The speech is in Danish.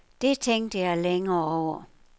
Det tænkte jeg længe over.